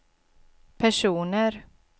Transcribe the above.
personer